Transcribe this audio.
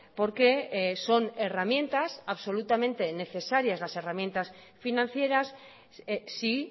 porque son herramientas absolutamente necesarias las herramientas financieras sí